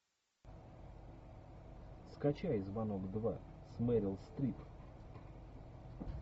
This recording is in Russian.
скачай звонок два с мерил стрип